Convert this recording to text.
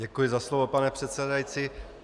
Děkuji za slovo, pane předsedající.